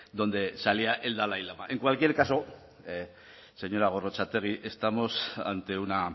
donde salía el dalai lama en cualquier caso señora gorrotxategi estamos ante una